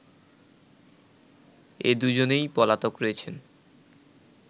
এ দুজনেই পলাতক রয়েছেন